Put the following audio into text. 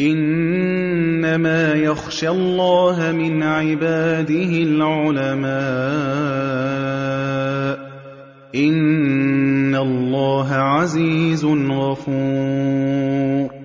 إِنَّمَا يَخْشَى اللَّهَ مِنْ عِبَادِهِ الْعُلَمَاءُ ۗ إِنَّ اللَّهَ عَزِيزٌ غَفُورٌ